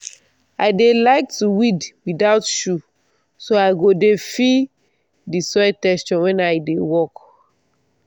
i dey like to weed without shoe so i go dey feel the soil texture wen i dey work.